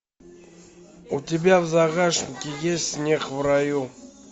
у тебя в загашнике есть снег в раю